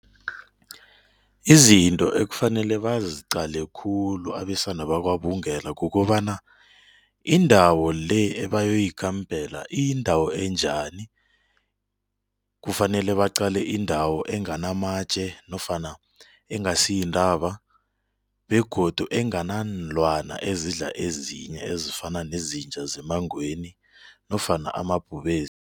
Izinto ekufanele baziqale khulu abesana bakwaBungela kukobana indawo-le ebayoyikampela iyindawo enjani, kufanele baqale indawo enganamatje nofana engasiyintaba begodu enganaanlwana ezidla ezinye ezifana nezinja zemangweni nofana amabhubezi